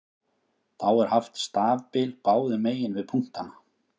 Þá er haft stafbil báðum megin við punktana.